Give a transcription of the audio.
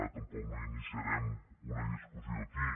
ara tampoc no iniciarem una discussió aquí